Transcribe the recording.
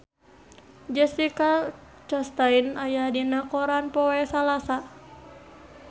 Jessica Chastain aya dina koran poe Salasa